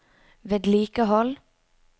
vedlikehold